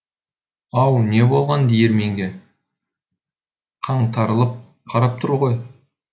ау не болған диірменге қаңтарылып қарап тұр ғой